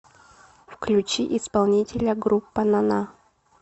включи исполнителя группа на на